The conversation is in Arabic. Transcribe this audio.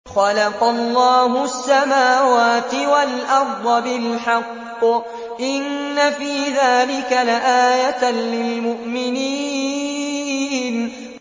خَلَقَ اللَّهُ السَّمَاوَاتِ وَالْأَرْضَ بِالْحَقِّ ۚ إِنَّ فِي ذَٰلِكَ لَآيَةً لِّلْمُؤْمِنِينَ